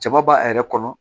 Jaba b'a yɛrɛ kɔnɔ